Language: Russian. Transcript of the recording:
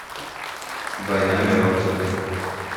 война миров зет